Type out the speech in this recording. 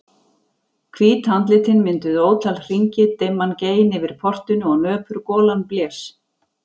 Hvít andlitin mynduðu ótal hringi, dimman gein yfir portinu og nöpur golan blés.